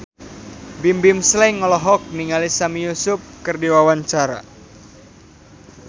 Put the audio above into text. Bimbim Slank olohok ningali Sami Yusuf keur diwawancara